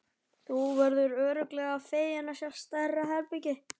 Þú verður örugglega feginn að fá stærra herbergi.